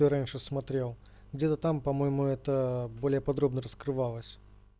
раньше смотрел где-то там по-моему это более подробно раскрывалось